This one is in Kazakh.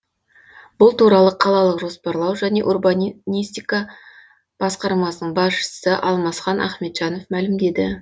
бұл туралы қалалық жоспарлау және урбанистика басқармасының басшысы алмасхан ахмеджанов мәлімдеді